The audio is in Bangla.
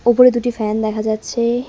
ওপরে দুটি ফ্যান দেখা যাচ্ছে।